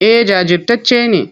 Eh jajirtacce ne.